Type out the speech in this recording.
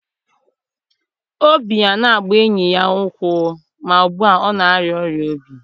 Obi a na-agba enyi ya ukwu, ma ugbu a ọ na-arịa ọrịa obi.